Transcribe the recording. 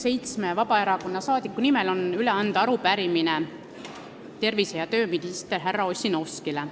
Seitsme Vabaerakonna liikme nimel on mul üle anda arupärimine tervise- ja tööministrile härra Ossinovskile.